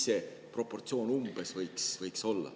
Mis see proportsioon umbes võiks olla?